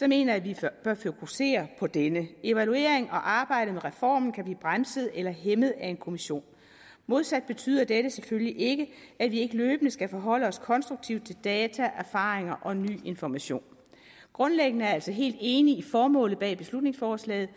mener jeg vi bør fokusere på denne evaluering og arbejde med reformen kan blive bremset eller hæmmet af en kommission modsat betyder dette selvfølgelig ikke at vi ikke løbende skal forholde os konstruktivt til data erfaringer og ny information grundlæggende er jeg altså helt enig i formålet bag beslutningsforslaget